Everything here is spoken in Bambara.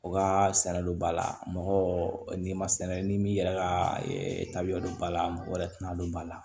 O ka sɛnɛ olu b'a la mɔgɔ n'i ma sɛnɛ ni yɛrɛ ka tabiya don ba la mɔgɔ wɛrɛ tɛna don ba la